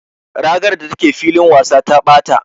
Ragar da take filin wasa ta ɓata.